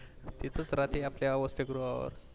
इथे च राहते आपल्या या वस्तीगृहावर